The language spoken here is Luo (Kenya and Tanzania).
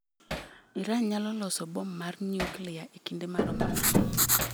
Iran nyalo loso bom mar nyuklia e kinde maromo nade?